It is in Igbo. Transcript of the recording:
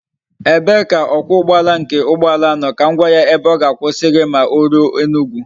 Ebe ka okwa ugboala nke ugboala a no kam gwa ya ebe oga akwusa gi ma o ruo Enugwu?